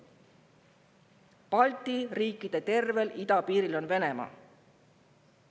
Kõigi Balti riikide idapiiri taga on Venemaa.